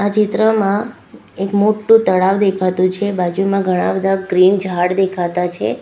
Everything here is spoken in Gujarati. આ ચિત્રમાં એક મોટું તળાવ દેખાતું છે બાજુમાં ઘણા બધા ગ્રીન ઝાડ દેખાતા છે.